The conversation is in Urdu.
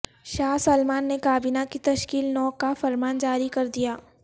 شاہ سلمان نے کابینہ کی تشکیل نو کا فرمان جاری کردیا